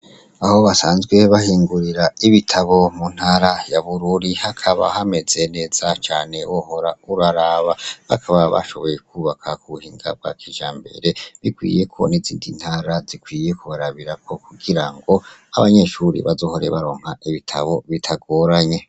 Aho basanzwe bahingurira ibitabo mu ntara ya bururi hakaba hameze neza cane, wohora uraraba bakaba bashoboye kwubaka ku buhinga bwa kijambere bikwiyeko nizindi ntara zikwiye kubarabirako kugira ngo abanyeshuri bazohore baronka ibitabo bitagoranye.